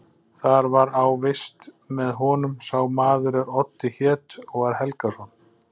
Þar var á vist með honum sá maður er Oddi hét og var Helgason.